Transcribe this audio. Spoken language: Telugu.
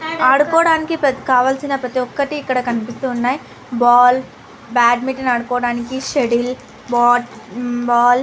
ఆడుకోవడానికి పెద్ద కావాల్సిన ప్రతి ఒకటి ఇక్కడ కనిపితున్నాయి బాల్ బాడ్మింటన్ అడ్డుకోవడానికి షెటిల్ బాట్ హు బాల్ --